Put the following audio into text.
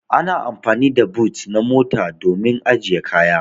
Ana amfani da boot na mota domin ajiye kaya.